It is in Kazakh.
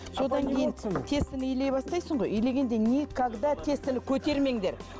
содан кейін тестаны илей бастайсың ғой илегенде никогда тестаны көтермеңдер